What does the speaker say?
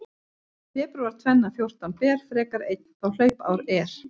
Febrúar tvenna fjórtán ber, frekar einn þá hlaupár er.